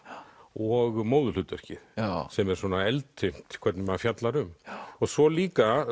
og móðurhlutverkið sem er svona eldfimt hvernig maður fjallar um svo líka